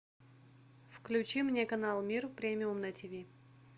включи мне канал мир премиум на тв